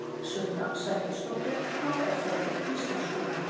Sunna Sæmundsdóttir: Hvað er það við íslenskuna?